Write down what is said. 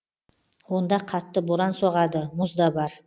онда қатты боран соғады мұз да бар